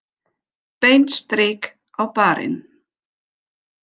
Beint strik á barinn.